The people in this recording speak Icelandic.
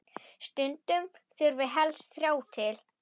Stundum þurfi helst þrjá til.